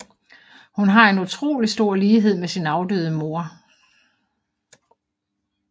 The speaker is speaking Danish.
Hun har en utrolig stor lighed med sin afdøde mor